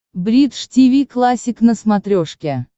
бридж тиви классик на смотрешке